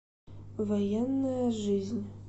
военная жизнь